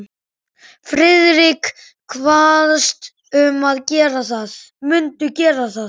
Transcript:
Friðrik kvaðst mundu gera það.